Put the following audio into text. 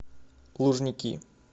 лужники